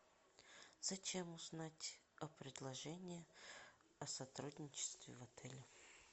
зачем узнать о предложении о сотрудничестве в отеле